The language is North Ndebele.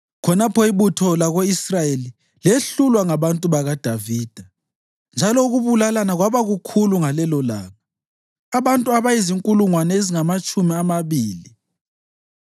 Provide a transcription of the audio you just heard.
Khonapho ibutho lako-Israyeli lehlulwa ngabantu bakaDavida, njalo ukubulalana kwaba kukhulu ngalelolanga, abantu abazinkulungwane ezingamatshumi amabili.